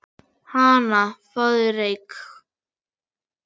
Hana, fáðu þér reyk